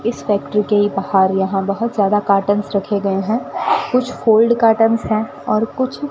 इस फैक्टरी के ही बाहर यहां बहुत ज्यादा कर्टेन्स रखे गए हैं कुछ फोल्ड कर्टेन्स हैं और कुछ --